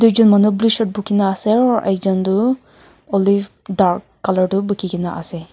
ekjon manu blue shirt bukhi ne ase aru ekjon tu olive dark colour tu bukhi kene ase.